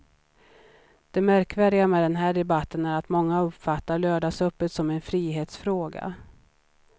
Det märkvärdiga med den här debatten är att många uppfattar lördagsöppet som en frihetsfråga.